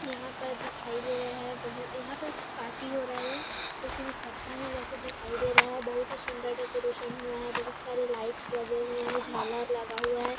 यहाँ पर दिखाई दे रहा हे बहुत यहाँ पर पार्टी हो रहा हे कुछ रिसेप्शन हे वैसी दिखाई दे रहा हे बहुत ही सुन्दर डेकोरेशन हुआ हे बहुत सारे लाइट्स लगे हुए हें झालर लगा हुआ हे।